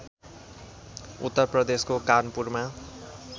उत्तर प्रदेशको कानपुरमा